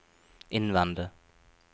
innvende